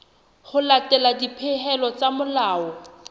ho latela dipehelo tsa molao